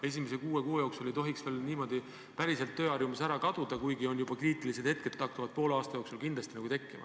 Esimese kuue kuu jooksul ei tohiks tööharjumus veel niimoodi päriselt ära kaduda, kuigi poole aasta jooksul hakkavad kindlasti juba kriitilised hetked tekkima.